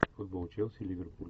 футбол челси ливерпуль